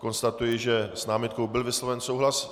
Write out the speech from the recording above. Konstatuji, že s námitkou byl vysloven souhlas.